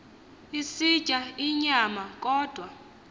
esitya inyama kodwa